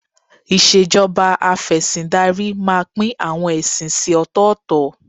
Ìṣèjọba Afẹ̀sìndarí máa pín àwọn ẹ̀sìn sí ọ̀tọ̀ọ̀tọ̀